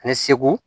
Ani segu